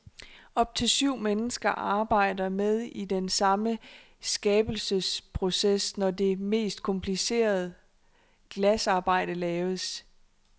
Op til syv mennesker arbejder med i den samme skabelsesproces, når det mest komplicerede glasarbejde laves.